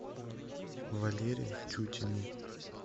валере тютину